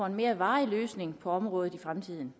en mere varig løsning på området i fremtiden